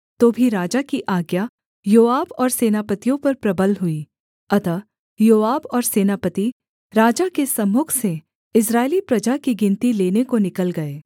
तो भी राजा की आज्ञा योआब और सेनापतियों पर प्रबल हुई अतः योआब और सेनापति राजा के सम्मुख से इस्राएली प्रजा की गिनती लेने को निकल गए